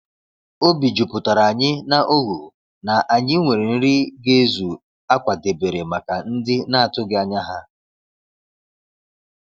Obi juputaranyi na oghụ na anyị nwere nri ga ezu a kwadebere maka ndị na-atụghị anya ha.